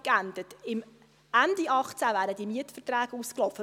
Ende 2018 wären die Mietverträge ausgelaufen.